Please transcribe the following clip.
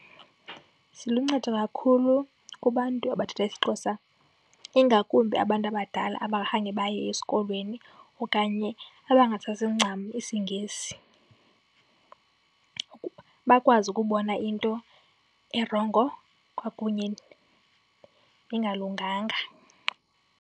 Ziluncedo kakhulu kubantu abathetha isiXhosa, ingakumbi abantu abadala abangakhange baye esikolweni okanye abangasazi ncam isiNgesi, bakwazi ukubona into erongo kwakunye nengalunganga.